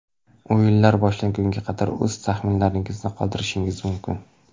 O‘yinlar boshlangunga qadar o‘z taxminlaringizni qoldirishingiz mumkin.